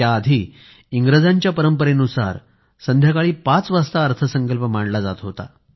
त्यापूर्वी इंग्रजांच्या परंपरेनुसार संध्याकाळी 5 वाजता अर्थसंकल्प मांडला जात होता